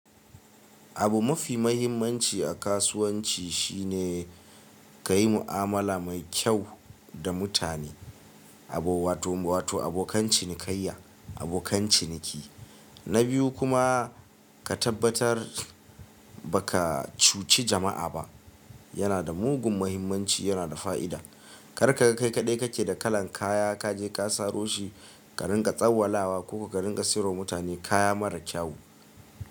Abu mofi mahimmanci a kasuwanci shine ka yi mu'amala mai kyau da mutane, abo wato wato abokan cinikayya, abokan ciniki. Na biyu kuma ka tabbatar ba ka cuci jama'a ba, yana da mugun muhimmanci, yana da fa'ida. Kar ka ga kai kaɗai kake da kalan kaya ka je ka saro shi, ka rinƙa tsawallawa ko ka rinƙa siro mutane kaya mara kyau.